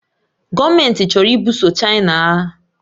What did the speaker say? Gọọmenti chọrọ ibuso China agha